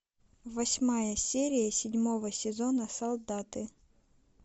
восьмая серия седьмого сезона солдаты